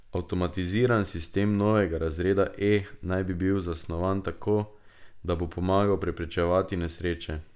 Avtomatiziran sistem novega razreda E naj bi bil zasnovan tako, da bo pomagal preprečevati nesreče.